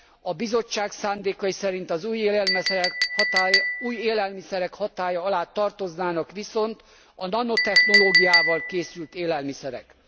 A Bizottság szándékai szerint az új élelmiszerek hatálya alá tartoznának viszont a nanotechnológiával készült élelmiszerek.